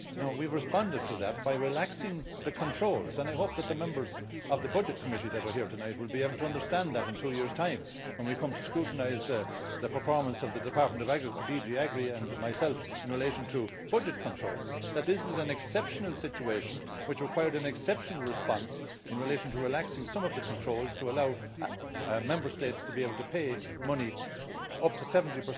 We have responded to that by relaxing the controls, and I hope that the members of Committee on Budgets who are here tonight will be able to understand that in two years' time, when we come to scrutinise the performance of the department of DG AGRI and myself in relation to budget controls that this is an exceptional situation which required an exceptional response in relation to relaxing some of the controls, to allow Member States to be able to pay money up to 70